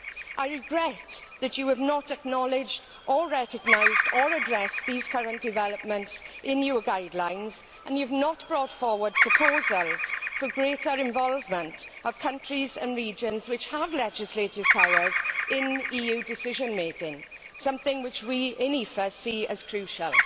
I regret that you have not acknowledged, recognised or addressed these current developments in your guidelines and you have not brought forward proposals for greater involvement of countries and regions which have legislative powers in EU decision making, something which we in the EFA see as crucial.